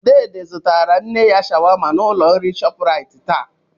Dede zụtara nne ya shawama n'ụlọ nri Shoprite taa.